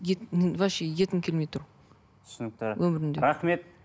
вообще еткім келмей тұр түсінікті өмірімде рахмет